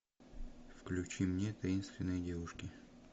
включи мне таинственные девушки